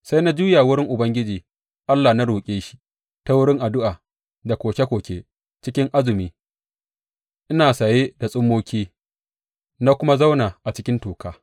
Sai na juya wurin Ubangiji Allah na roƙe shi ta wurin addu’a da koke koke, cikin azumi, ina saye da tsummoki, na kuma zauna a cikin toka.